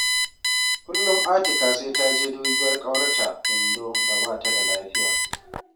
Kullum Atika sai ta je dubiyar ƙawarta Indo da ba ta da lafiya